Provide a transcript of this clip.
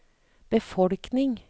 befolkning